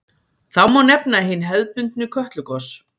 Þá má nefna hin hefðbundnu Kötlugos.